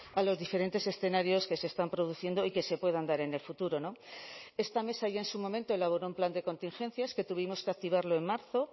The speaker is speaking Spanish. a los diferentes escenarios que se están produciendo y que se puedan dar en el futuro no esta mesa ya en su momento elaboró un plan de contingencias que tuvimos que activarlo en marzo